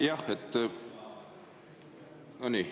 Jah.